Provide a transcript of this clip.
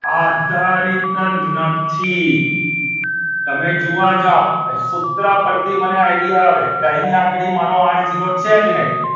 આધારિત નથી તમે જોવા જાવ સૂત્ર પરથી મને idea આવે કે અહીં આગળ ઝીરો છે જ નહીં.